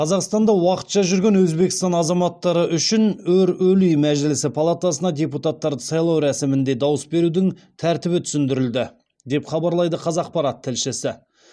қазақстанда уақытша жүрген өзбекстан азаматтары үшін өр өлий мәжілісі палатасына депутаттарды сайлау рәсімінде дауыс берудің тәртібі түсіндірілді деп хабарлайды қазақпарат тілшісі